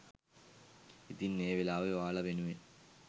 ඉතින් ඒ වෙලාවේ ඔයාලා වෙනුවෙන්